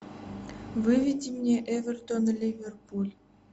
выведи мне эвертон ливерпуль